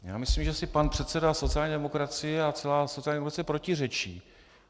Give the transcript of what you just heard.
Já myslím, že si pan předseda sociální demokracie a celá sociální demokracie protiřečí.